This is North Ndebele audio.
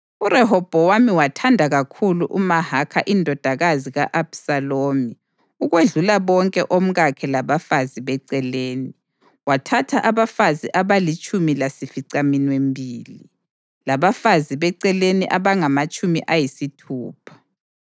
URehobhowami wathanda kakhulu uMahakha indodakazi ka-Abhisalomu ukwedlula bonke omkakhe labafazi beceleni; wathatha abafazi abalitshumi lasificaminwembili, labafazi beceleni abangamatshumi ayisithupha.